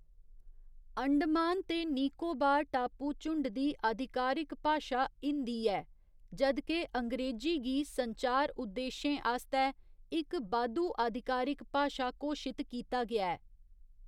अंडमान ते निकोबार टापू झुण्ड दी आधिकारिक भाशा हिंदी ऐ, जद् के अंग्रेजी गी संचार उद्देश्यें आस्तै इक बाद्धू आधिकारिक भाशा घोशित कीता गेआ ऐ।